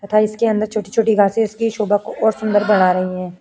तथा इसकी छोटी-छोटी घासे इसकी शोभा को और सुन्दर बढ़ा रही हैं।